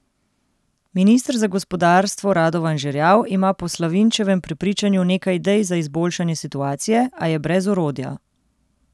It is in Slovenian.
Minister za gospodarstvo Radovan Žerjav ima po Slavinčevem prepričanju nekaj idej za izboljšanje situacije, a je brez orodja.